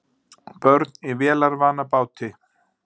Börn í vélarvana báti